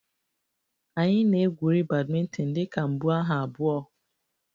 Anyị na-egwuri badminton dị ka mbuaha abụọ